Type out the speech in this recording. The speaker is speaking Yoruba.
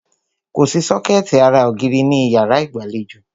Kòsí sọ́kẹ̀tì ara ògiri ní ìyárá ìgbàlejò.